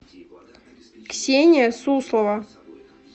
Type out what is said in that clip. ксения суслова